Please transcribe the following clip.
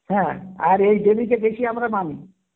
হ্যাঁ আর এই দেবী কে দেখে আমরা মানি